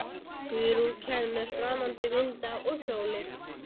Guðrún kæmi með framandi vinda og sólir.